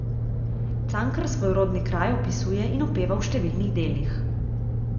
Cankar svoj rodni kraj opisuje in opeva v številnih delih.